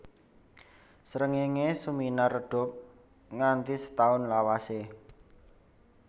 Srengéngé suminar redhup nganti setaun lawasé